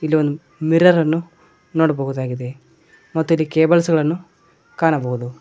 ಇಲ್ಲಿ one mirror ಅನ್ನು ನೋಡಬಹುದಾಗಿದೆ ಮತ್ತು ಇಲ್ಲಿ ಕೇಬಲ್ಸ್ ಗಳನ್ನು ಕಾಣಬಹುದು.